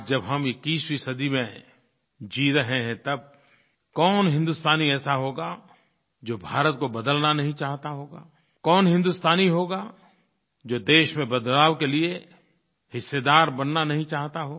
आज जब हम 21वीं सदी में जी रहे हैं तब कौन हिन्दुस्तानी ऐसा होगा जो भारत को बदलना नहीं चाहता होगा कौन हिन्दुस्तानी होगा जो देश में बदलाव के लिये हिस्सेदार बनना नहीं चाहता हो